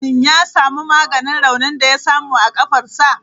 Shin ya samu maganin raunin da ya samu a kafarsa?